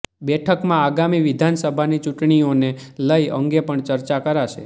બેઠકમાં આગામી વિધાનસભાની ચૂંટણીઓને લઇ અંગે પણ ચર્ચા કરાશે